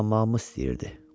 savadlanmağımı istəyirdi.